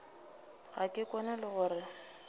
ga ke kwane le gore